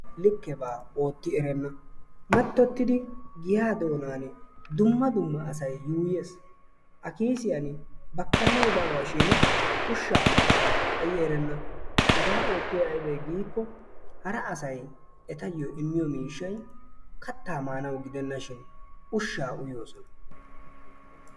likkeebaa ootti erenna. mattottidi giyaa doonani asay yuuyyees. a kiisiyaan bakkanay baawashiin ushshaa miishshaa xaayi erenna. hegaa oottiyay aybee giikko hara asay ettayoo immiyoo miishshay kaattaa maanawu gidennashi ushshaa uyoosona.